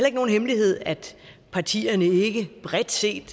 ikke nogen hemmelighed at partierne ikke bredt set